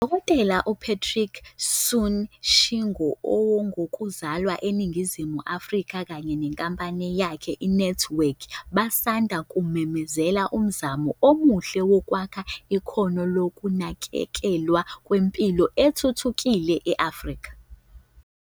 UDkt u-Patrick Soon-Shiong ongowoku zalwa eNingizimu Afrika kanye nenkampani yakhe i-NantWorks basanda kumemezela umzamo omuhle wokwakha ikhono lokunakekelwa kwezempilo okuthuthukile e-Afrika.